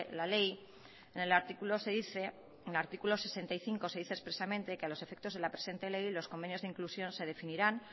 la ley en el artículo se dice en el artículo sesenta y cinco se dice expresamente que a los efectos de la presente ley los convenios de inclusión se definirán